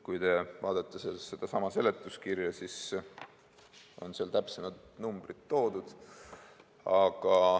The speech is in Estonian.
Kui te vaatate seletuskirja, siis seal on täpsed numbrid toodud.